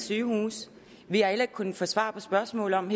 sygehuse vi har heller ikke kunnet få svar på spørgsmålet om